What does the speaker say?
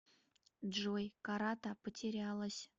джой карата потерялась